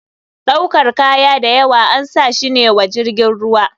Ɗaukar kaya dayawa ansashi ne wa jirgin ruwa.